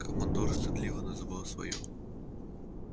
командор стыдливо называл своё жилище домом